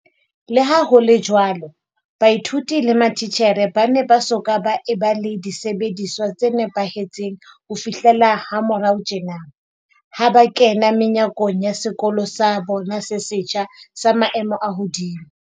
Leha ho le jwalo, baithuti le mati tjhere ba ne ba soka ba eba le disebediswa tse nepahe tseng ho fihlela ha morao tjena, ha ba kena menyakong ya sekolo sa bona se setjha, sa maemo a hodimo.